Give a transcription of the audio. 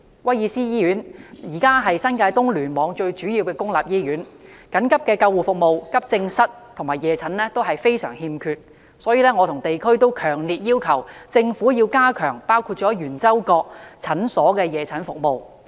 威爾斯親王醫院目前是新界東聯網最主要的公立醫院，緊急救護服務、急症室和夜診服務均非常欠缺，所以我和地區人士皆強烈要求政府加強包括圓洲角診所的夜診服務。